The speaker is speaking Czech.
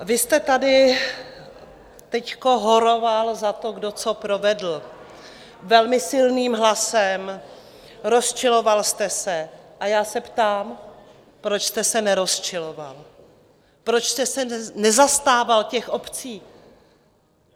Vy jste tady teď horoval za to, kdo co provedl, velmi silným hlasem, rozčiloval jste se, a já se ptám, proč jste se nerozčiloval, proč jste se nezastával těch obcí?